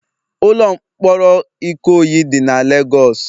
Ụlọ mkpọrọ Ikoyi dị na Legọs